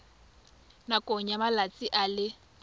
nakong ya malatsi a le